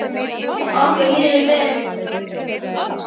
Okkur líður vel.